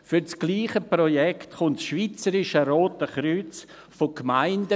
Für dasselbe Projekt erhält das Schweizerische Rote Kreuz von Gemeinden